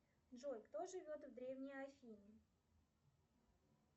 джой кто живет в древней афине